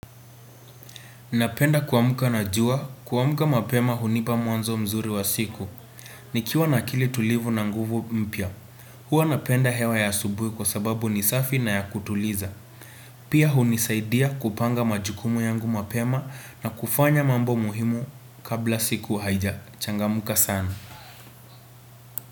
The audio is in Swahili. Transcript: Napenda kuamka na jua, kuamka mapema hunipa mwanzo mzuri wa siku. Nikiwa na akili tulivu na nguvu mpya. Huwa napenda hewa ya asubuhi kwa sababu ni safi na ya kutuliza. Pia hunisaidia kupanga majukumu yangu mapema na kufanya mambo muhimu kabla siku haijachangamka sana.